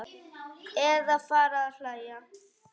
Eða fara að hlæja.